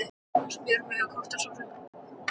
En voru þetta ekki lífverur á þróunarbrautinni?